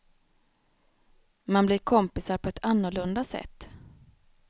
Man blir kompisar på ett annorlunda sätt.